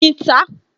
Oyin ta á